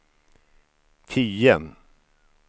tio